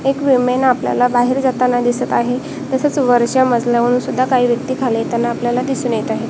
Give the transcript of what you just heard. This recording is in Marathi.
एक विमेन आपल्याला बाहेर जाताना दिसत आहे तसेच वरच्या मजल्याहून सुद्धा काही व्यक्ती खाली येताना आपल्याला दिसून येत आहे.